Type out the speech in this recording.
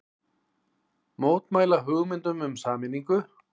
Mótmæla hugmyndum um sameiningu